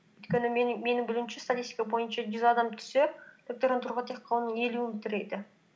өйткені менің білуімше статистика бойынша жүз адам түссе докторантураға тек қана оның елуі бітіреді